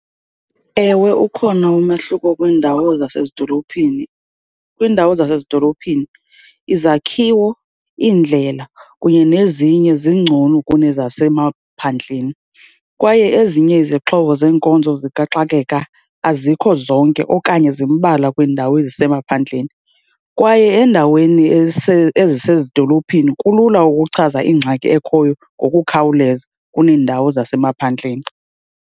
Ewe, ukhona umahluko kwiindawo zasezidolophini. Kwiindawo zasezidolophini izakhiwo, iindlela kunye nezinye zingcono kunezasemaphandleni kwaye ezinye izixhobo zeenkonzo zikaxakeka, azikho zonke okanye zimbalwa kwiindawo ezisemaphandleni. Kwaye endaweni ezisezidolophini kulula ukuchaza ingxaki ekhoyo ngokukhawuleza kuneendawo zasemaphandleni.